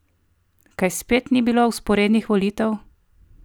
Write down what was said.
Kaj spet ni bilo vzporednih volitev?